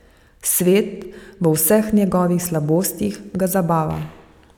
Svet, v vseh njegovih slabostih, ga zabava.